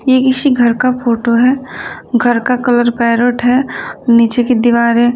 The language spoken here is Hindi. ठीक इसी घर का फोटो है घर का कलर पैरोट है नीचे की दीवारे--